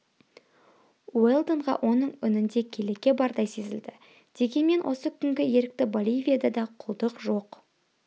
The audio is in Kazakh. уэлдонға оның үнінде келеке бардай сезілді дегенмен осы күнгі ерікті боливияда да құлдық жоқ